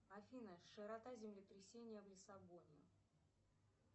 афина широта землетрясения в лиссабоне